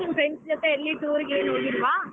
ನಿನ್ನ friends ಜೊತೆ ಎಲ್ಲಿ tour ಗೀರ್ ಹೋಗಿಲ್ವಾ?